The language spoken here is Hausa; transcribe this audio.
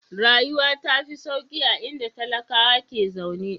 Rayuwa ta fi sauƙi a inda talakawa ke zaune.